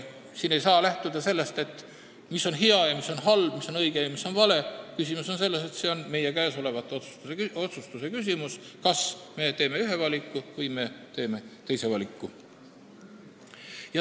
Siin ei saa lähtuda sellest, mis on hea ja mis on halb või mis on õige ja mis on vale, küsimus on selles, et see on meie otsustuse küsimus, kas me teeme ühe valiku või teeme teise valiku.